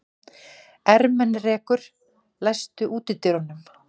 Ermenrekur, læstu útidyrunum.